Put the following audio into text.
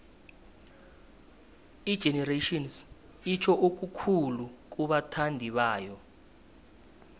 igenerations itjho okukhulu kubathandibayo